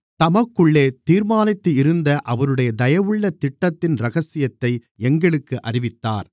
தமக்குள்ளே தீர்மானித்திருந்த அவருடைய தயவுள்ள திட்டத்தின் இரகசியத்தை எங்களுக்கு அறிவித்தார்